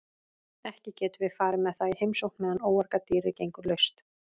Ekki getum við farið með það í heimsókn meðan óargadýrið gengur laust.